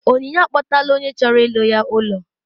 Onyinye akpọtala onye chọrọ ịlụ ya ụlọ